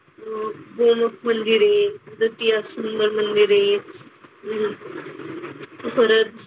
अह गोमुख मंदिर आहे. दातिया सुधन मंदिर आहे. परत,